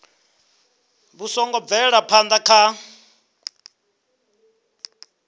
vhu songo bvelaho phana kha